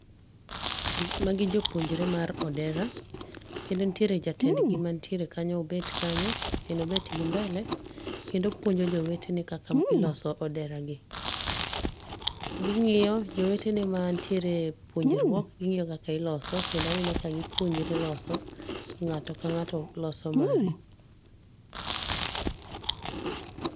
Magi jopuonjre mar odera kendo nitiere jatend go mantiere kanyo en obet kanyo en obet gi mbele kendo opuonjo jowetene kaka iloso oderani. Gi ng'iyo jowetene mantiere e puonjruok kendo gi ng'iyo kaka iloso. Kendo aneno ka gipuonjre loso.Ng'ato ka ng'ato loso mare.